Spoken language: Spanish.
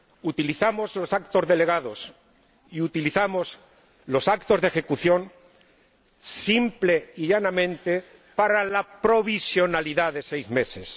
Utilizamos los actos delegados y utilizamos los actos de ejecución simple y llanamente para la provisionalidad de seis meses.